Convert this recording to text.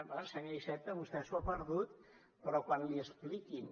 bé senyor iceta vostè s’ho ha perdut però quan l’hi expliquin